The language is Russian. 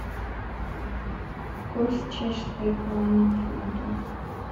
курс чешской кроны к фунту